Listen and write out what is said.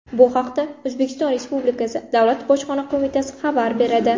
Bu haqda O‘zbekiston Respublikasi Davlat Bojxona qo‘mitasi xabar beradi .